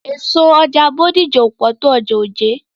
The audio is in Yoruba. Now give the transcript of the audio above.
Èso ọjà Bódìjà ò pọ̀ tó ọjà Ojé.